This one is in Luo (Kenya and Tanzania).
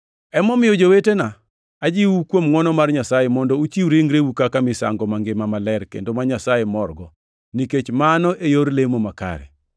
Emomiyo, jowetena, ajiwou kuom ngʼwono mar Nyasaye, mondo uchiw ringreu kaka misango mangima maler kendo ma Nyasaye morgo, nikech mano e yor lemo makare.